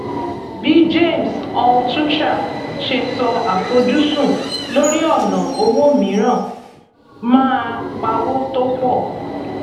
bí james altucher ṣe sọ àfojúsùn lórí ọnà owó mìíràn máa pawó tó pọ